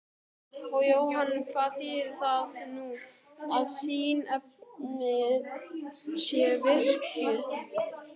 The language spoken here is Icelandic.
Og Jóhann hvað þýðir það nú að siðanefnd sé virkjuð?